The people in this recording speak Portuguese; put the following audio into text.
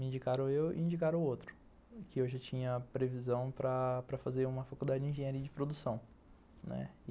Me indicaram eu e indicaram o outro, que eu já tinha previsão para para fazer uma faculdade de engenharia e de produção, né.